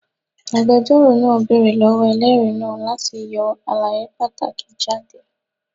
Agbẹjọro naa beere lọwọ ẹlẹri naa lati yọ alaye pataki jade